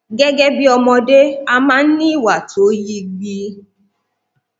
gẹgẹ bí ọmọdé a máa ń ní ìwà tó yi gbì